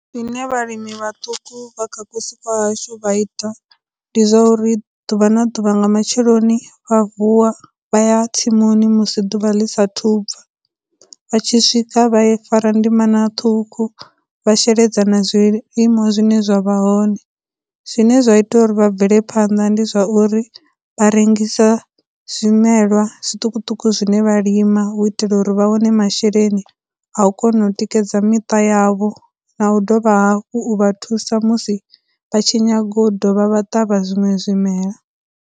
Zwine vhalimi vhaṱuku vha kha vhusiku kwahashu vha ita ndi zwa uri, ḓuvha na ḓuvha nga matsheloni vha vuwa vha ya tsimuni musi ḓuvha ḽi sa thu bva, vha tshi swika vha fara ndimana ṱhukhu, vha sheledza na zwilimwa zwine zwa vha hone, zwine zwa ita uri vha bvelaphanda ndi zwa uri, vha rengisa zwimelwa zwiṱukuṱuku zwine vha lima hu u itela uri vha wane masheleni a u kona u tikedza miṱa yavho, na u dovha hafhu u vha thusa musi vha tshi nyaga u dovha vha ṱavha zwiṅwe zwimela.